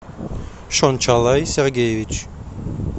шончалай сергеевич